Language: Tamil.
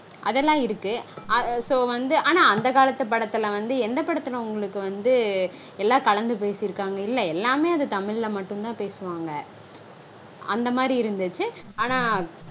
அதெல்லாம் இருக்கு. So வந்து ஆனா அந்த காலத்து படத்துல வந்து எந்த படத்துல வந்து எல்லா கலந்து பேசிருக்காங்க? இல்ல எல்லாமே அது தமிழ்ல்ல மட்டும்தா பேசுவாங்க. அந்த மாதிரி இருந்துச்சு. ஆனா